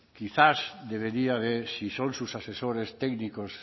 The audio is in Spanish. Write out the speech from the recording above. quizás debería de si son sus asesores técnicos